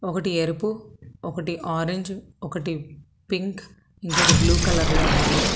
ఒకటి ఎరుపు ఒకటి ఆరెంజ్ ఒకటి పింక్ ఇంకోటి బ్లూ కలర్ లో ఉన్నాయి.